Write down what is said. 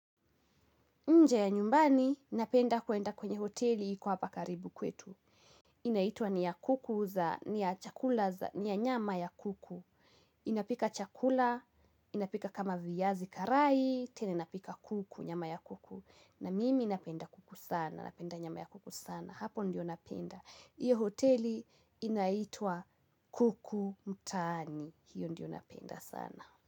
Nje ya nyumbani, napenda kuenda kwenye hoteli iko hapa karibu kwetu. Inaitwa ni ya kuku za, ni ya chakula za, ni ya nyama ya kuku. Inapika chakula, inapika kama viazi karai, tena inapika kuku, nyama ya kuku. Na mimi napenda kuku sana, napenda nyama ya kuku sana. Hapo ndio napenda. Hiyo hoteli inaitwa kuku mtaani. Hiyo ndio napenda sana.